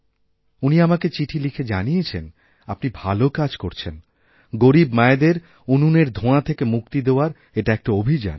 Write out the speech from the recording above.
উনি আমাকে চিঠি লিখে জানিয়েছেন আপনি ভাল কাজ করছেনগরীব মায়েদের উনুনের ধোঁয়া থেকে মুক্তি দেওয়ার এটা একটা অভিযান